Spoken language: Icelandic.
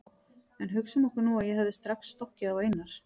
En hugsum okkur nú að ég hefði strax stokkið á Einar